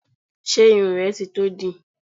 Ṣé irun rẹ ti tó dì?